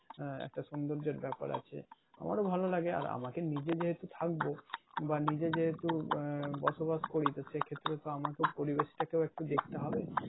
একটা সৌন্দর্যের ব্যাপার আছে আমরা ও ভালো লাগে আর আমাকে নিজে যেহেতু থাকবো বা নিজে যেহেতু আহ বসবাস করি তো সেক্ষেত্রে তো আমাকেও পরিবেশটা কেও একটু দেখতে হবে